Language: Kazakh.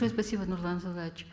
спасибо нурлан зайроллаевич